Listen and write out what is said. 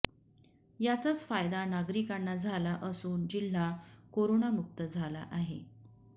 याचाच फायदा नागरिकांना झाला असून जिल्हा कोरोनामुक्त झाला आहे